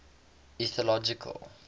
ethnological